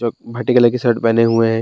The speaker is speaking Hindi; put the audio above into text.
जो भटे कलर के शर्ट पहने हुए है।